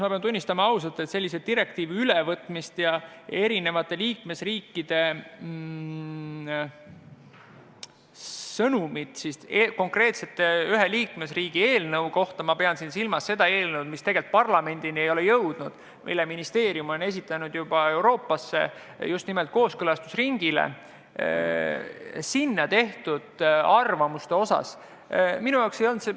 Ma pean silmas direktiivide ülevõtmist ja eri liikmesriikide arvamusi mõne liikmesriigi konkreetse eelnõu kohta, mis tegelikult parlamendini ei ole jõudnud, aga mille ministeerium on saatnud Euroopasse kooskõlastusringile, et teada saada teiste arvamusi.